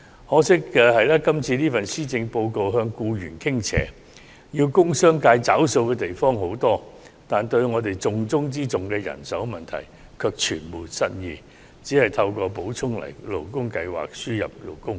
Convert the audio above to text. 可惜的是，今年的施政報告向僱員傾斜，需要工商界付出的東西很多，但對於重中之重的人手問題卻全無新意，只透過補充勞工計劃輸入勞工。